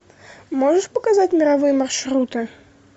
можешь показать мировые маршруты